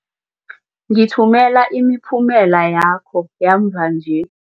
Ngithumela imiphumela yakho yamva nje.